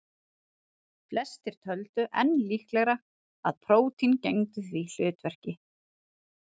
Flestir töldu enn líklegra að prótín gegndu því hlutverki.